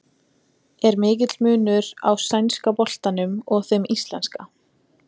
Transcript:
Er mikill munur á sænska boltanum og þeim íslenska?